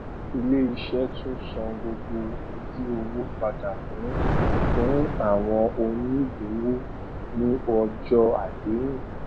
ilé iṣé tún san gbogbo ojú owó padà fún fún àwọn onígbòwó ní ọjó àdéhùn